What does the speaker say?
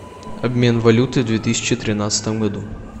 обмен валюты в две тысячи тринадцатом году